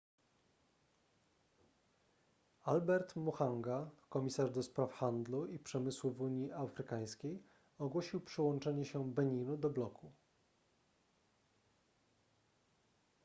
albert muchanga komisarz ds handlu i przemysłu w unii afrykańskiej ogłosił przyłączenie się beninu do bloku